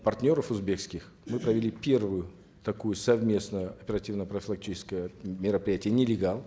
партнеров узбекских мы провели первое такое совместное оперативно профилактическое мероприятие нелегал